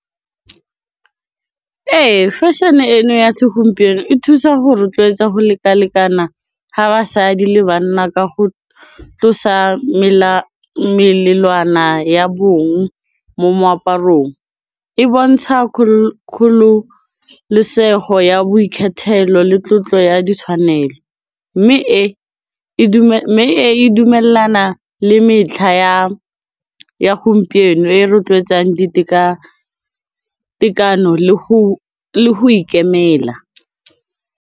Ee, fashion-e eno ya segompieno e thusa go rotloetsa go lekalekana ga basadi le bana ka go tlosa melelwana ya bong mo moaparong, e bontsha kgololosego ya boikgethelo le tlotlo ya ditshwanelo mme e e dumelana le metlha ya gompieno e rotloetsang ditekatekano le go ikemela.